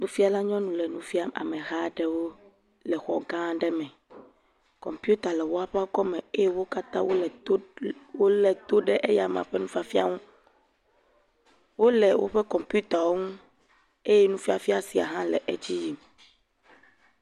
Nufiala nyɔnu le nu fiam ameha aɖewo le xɔ gã aɖe me. Kɔmpita le wo ƒe akɔ me eye wo katã wo le le, wo le to ɖe eyama ƒe nu fiafia ŋu. Wole woƒe kɔmpita wo ŋu eye nu fiafia sia ha le edzi yim.